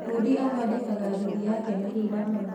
Bundi athondekaga nduthi yake mahinda mau